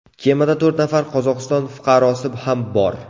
Kemada to‘rt nafar Qozog‘iston fuqarosi ham bor .